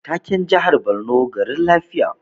Taken jihar Borno garin zaman lafiya